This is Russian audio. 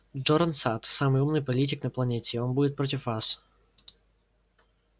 джоран сатт самый умный политик на планете и он будет против вас